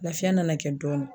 Lafiya nana kɛ dɔɔnin